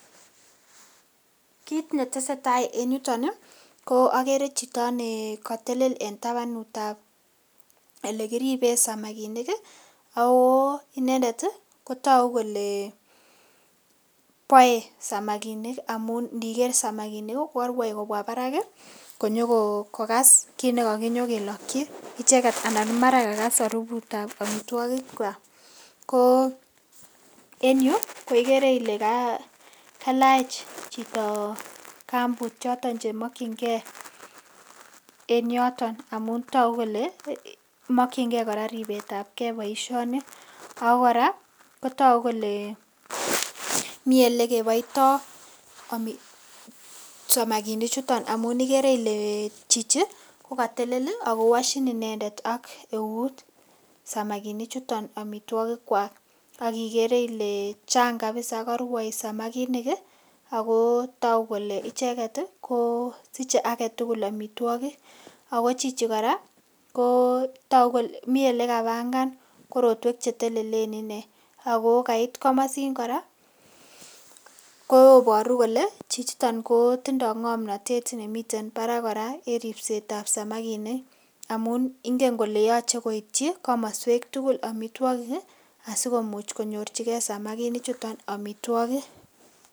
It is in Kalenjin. Kit netesetai en yuton ko ogere chito ne kotelel en tabanut ab ele kiriben samakinik ago inende ko togukole boe samakinik amun indiker samakinik ko korwoi kobwa barak konyo kokas kit ne koginyokeloki icheget anan mara kakas harufut ab amitwogik kwak. Ko en yu ko igere ile kalach chito kambut choton chemokinge en yoton amun togu kole mokinge kora ripet ab ke boisioni ago kora kotogu kole mi ele keboito samakinichuto amun igere ile chichi kogatelel ago woshin inendet ak euut samakinik chuton amitwogik kwak, ak igere ile chang kabisa, korwoi samakinik ago togu kole icheget ko siche age tugul amitwogik ago chichi kora ko togu kole mi ele kapangan korotwek che telelen inee ago kait komosin kora koboru kole chichiton kotindo ng'omnatet nemiten barak kora en ripset ab samakinik amun ingen kole yoche koityi komoswek tugul amitwogik asikomuch konyorchige samakinik amitwogik.